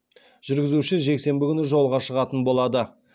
жүргізуші жексенбі күні жолға шығатын болады